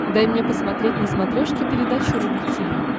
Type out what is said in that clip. дай мне посмотреть на смотрешке передачу рубль ти ви